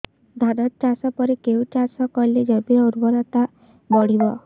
ଧାନ ଚାଷ ପରେ କେଉଁ ଚାଷ କଲେ ଜମିର ଉର୍ବରତା ବଢିବ